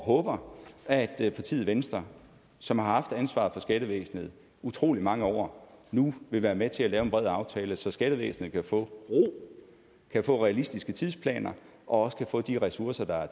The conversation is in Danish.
håber at partiet venstre som har haft ansvaret for skattevæsenet i utrolig mange år nu vil være med til at lave en bred aftale så skattevæsenet kan få ro kan få realistiske tidsplaner og også kan få de ressourcer der er